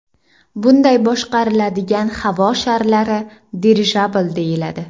Bunday boshqariladigan havo sharlari dirijabl deyiladi.